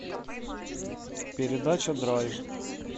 передача драйв